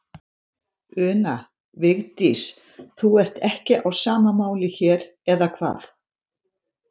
Una: Vigdís, þú ert ekki á sama máli hér, eða hvað?